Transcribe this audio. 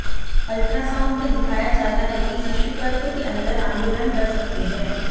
ultrasound मे दिखाया जाता है कि शिशु गर्भ के अंदर आंदोलन कर सकते है